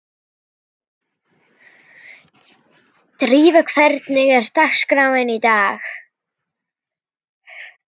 Drífa, hvernig er dagskráin í dag?